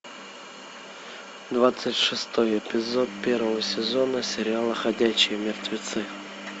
двадцать шестой эпизод первого сезона сериала ходячие мертвецы